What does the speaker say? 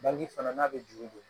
Bange fana n'a bɛ juru don